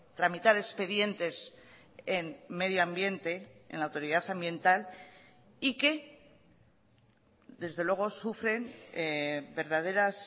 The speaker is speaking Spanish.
tramitar expedientes en medio ambiente en la autoridad ambiental y que desde luego sufren verdaderas